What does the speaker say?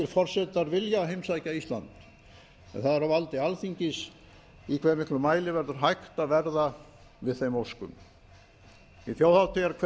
forsetar vilja heimsækja ísland en það er á valdi alþingis í hve miklum mæli verður hægt að verða við þeim óskum í þjóðhátíðarkveðjum